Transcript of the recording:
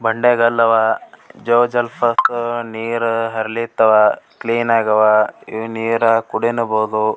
ಬಂಡೆಗಲ್ಲ ಅವ್ ಜೋಗಜಲಾಪಾತದ್ ನೀರ್ ಹರಲಿತವ್ ಕ್ಲೀನ್ ಆಗವ್ ಈ ನೀರ್ ಕುಡಿನುಬಹುದು .